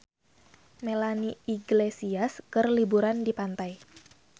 Melanie Iglesias keur liburan di pantai